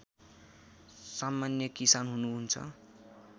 सामान्य किसान हुनुहुन्छ